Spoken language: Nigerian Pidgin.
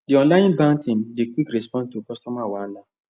the online bank team dey quick respond to customer wahala